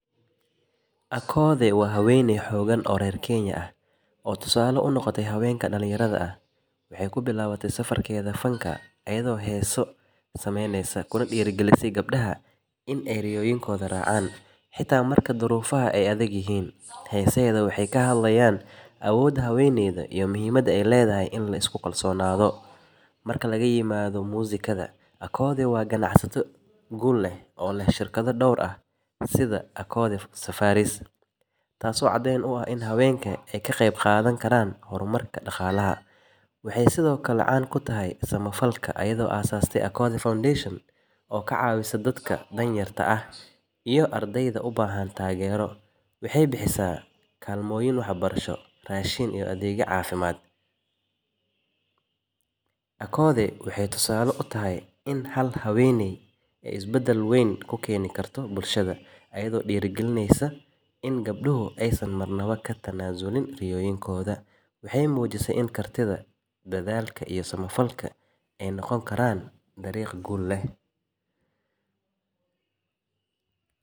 Akoode waa habeeney xoogan, waxeey ku bilaawde safarkeeda heesaha, heesaheeda waxeey kashekeyan awooda habeenka, waxeey sido kale tahay becshira, waxeey sido kale kashaqeesa samafalka, waxeey mujise inaay hal habeeney ka qeyb qaadan karto samafalka bulshada.